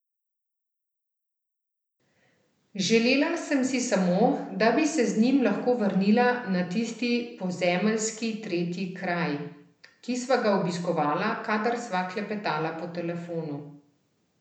Želela sem si samo, da bi se z njim lahko vrnila na tisti pozemeljski tretji kraj, ki sva ga obiskovala, kadar sva klepetala po telefonu.